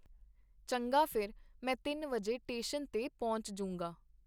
ਚੰਗਾ ਫਿਰ ਮੈਂ ਤਿੰਨ ਵਜੇ ਟੇਸ਼ਨ ਤੇ ਪਹੁੰਚ ਜੂੰਗਾ.